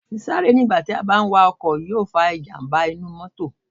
Sí sáré nígbà tí a bá ń wa ọkọ̀ yó fa ìjàmbá mótò